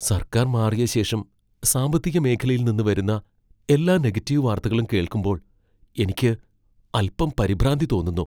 സർക്കാർ മാറിയ ശേഷം സാമ്പത്തിക മേഖലയിൽ നിന്ന് വരുന്ന എല്ലാ നെഗറ്റീവ് വാർത്തകളും കേൾക്കുമ്പോൾ എനിക്ക് അൽപ്പം പരിഭ്രാന്തി തോന്നുന്നു.